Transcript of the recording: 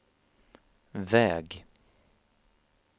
väg